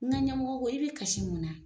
Ŋa ɲɛmɔgɔ ko i be kasi mun na?